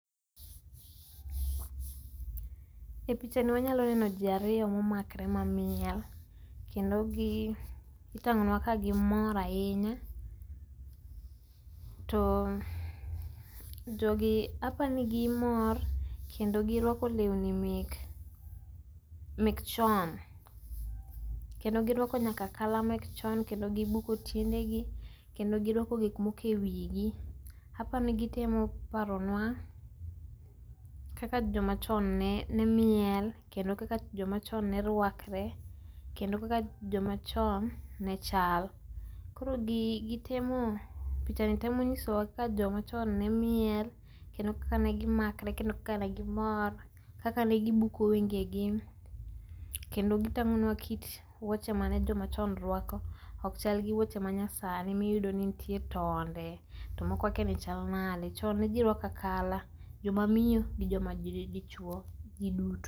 E pichani wanyalo neno jii ariyo momakore ma miel kendo itangonwa ka gimor ahinya, to jogi apani gimor kendo girwako lewni mek chon kendo girwako nyaka akala mek chon ,kendo gibuko tiendegi kendo girwako gik moko e wigi. Apani gitemo paronwa kaka jomachon ne miel kendo kaka jomachon ne rwakre kendo kaka joma chon ne chal. koro gi gitemo ,pichani temo nyisowa kaka joma chon ne miel, kendo kaka ne gimakre kendo kaka ne gior, kaka negi buko wengegi kendo gitangonwa kit wuoche mane jomachon rwako, ok chal gi wuoche manyasani miyudo ni nitie tonde tomoko akiani chal nade, chon ne jii rwako akala, joma miyo gi joma dichuo, jii duto